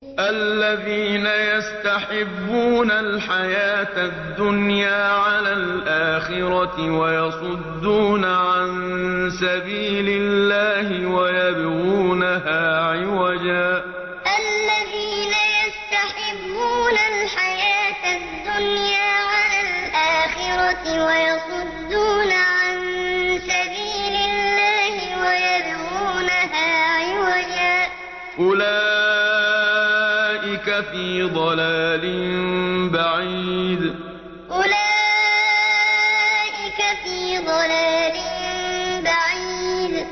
الَّذِينَ يَسْتَحِبُّونَ الْحَيَاةَ الدُّنْيَا عَلَى الْآخِرَةِ وَيَصُدُّونَ عَن سَبِيلِ اللَّهِ وَيَبْغُونَهَا عِوَجًا ۚ أُولَٰئِكَ فِي ضَلَالٍ بَعِيدٍ الَّذِينَ يَسْتَحِبُّونَ الْحَيَاةَ الدُّنْيَا عَلَى الْآخِرَةِ وَيَصُدُّونَ عَن سَبِيلِ اللَّهِ وَيَبْغُونَهَا عِوَجًا ۚ أُولَٰئِكَ فِي ضَلَالٍ بَعِيدٍ